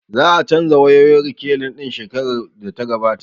Za a canja wayoyin rekilin ɗin shekarar da ta gabata